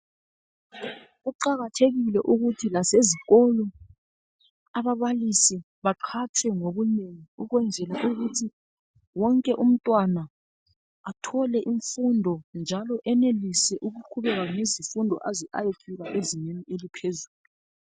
Kuqakathekile ukuthi lasezikolo ababalisi baqhatshwe ngobunengi ukwenzela ukuthi wonke umntwana athole imfundo njalo enelise ukuqhubeka ngezimfundo aze ayefika ezingeni eliphezulu.